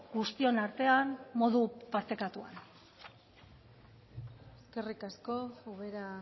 guztion artean modu partekatuan eskerrik asko ubera